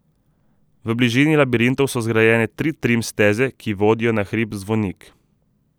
V bližini labirintov so zgrajene tri trim steze, ki vodijo na hrib Zvonik.